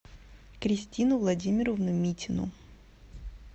кристину владимировну митину